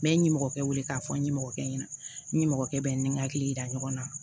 N bɛ n ɲɔmɔgɔkɛ wele k'a fɔ n ɲɛmɔgɔkɛ ɲɛna n ɲɛmɔgɔkɛ bɛ n hakili yira ɲɔgɔn na